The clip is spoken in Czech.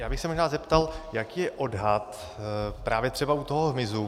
Já bych se možná zeptal, jaký je odhad právě třeba u toho hmyzu.